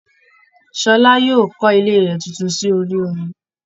Ṣọlá yóò kọ́ ilé rẹ̀ tuntun sí orí omi